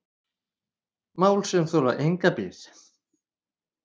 Mál sem þola enga bið